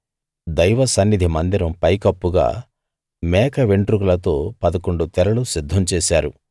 దైవ సన్నిధి మందిరం పైకప్పుగా మేక వెంట్రుకలతో పదకొండు తెరలు సిద్ధం చేశారు